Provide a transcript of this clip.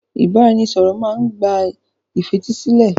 Ìbáraẹnisọ̀rọ̀ má n gba ìfetísílẹ̀.